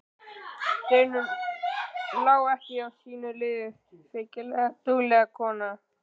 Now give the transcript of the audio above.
Steinunn lá ekki á liði sínu, feykilega dugleg kona.